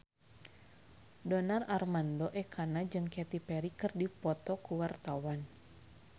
Donar Armando Ekana jeung Katy Perry keur dipoto ku wartawan